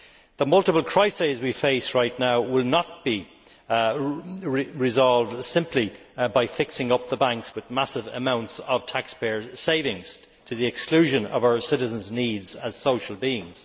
The multiple crises we face right now will not be resolved simply by fixing up the banks with massive amounts of taxpayers' savings to the exclusion of our citizens' needs as social beings.